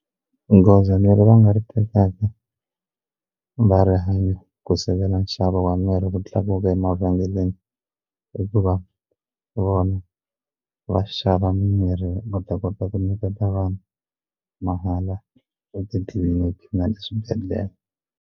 Goza leri va nga ri tekaka va rihanyo ku sivela nxavo wa mirhi ku tlakuka emavhengeleni i ku va vona va xava mimirhi va ta kota ku nyiketa vanhu mahala etitliliniki na le swibedhlele.